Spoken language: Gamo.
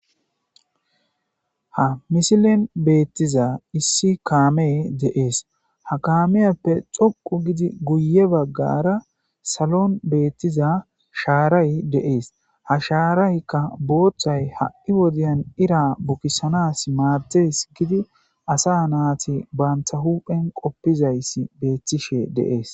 ha misilen beettiza issi kaamee deees ha kaameyappe xoqu gidi guye baggara salon beettiza shaaray deees ha shaaraykka booththay ha'i wodiyan ira bukisanas maatees gidi asa naati baanta huphen qoppizays beettishe deees